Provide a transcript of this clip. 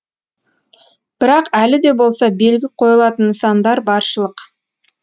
бірақ әлі де болса белгі қойылатын нысандар баршылық